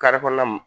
kɔnɔna na